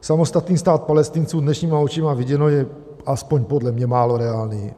Samostatný stát Palestinců dnešníma očima viděno je, aspoň podle mě, málo reálný.